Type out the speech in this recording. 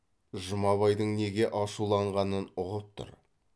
жұмабайдың неге ашуланғанын ұғып тұр